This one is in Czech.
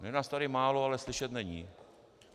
Je nás tady málo, ale slyšet není.